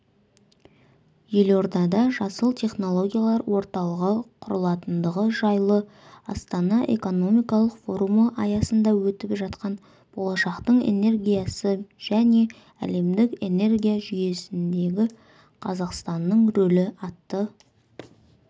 елордада жасыл технологиялар орталығы құрылатындығы жайлы астана экономикалық форумы аясында өтіп жатқан болашақтың энергиясы және әлемдік энергия жүйесіндегі қазақстанның рөлі атты